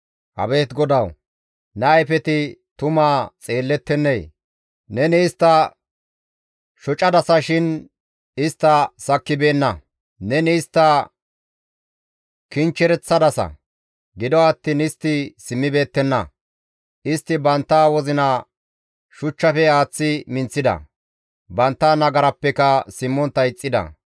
Abeet GODAWU! Ne ayfeti tumaa xeelettennee? Neni istta shocadasa shin istta sakkibeenna. Neni istta kinchchereththadasa; gido attiin istti simmibeettenna; istti bantta wozina shuchchafe aaththi minththida; bantta nagarappeka simmontta ixxida.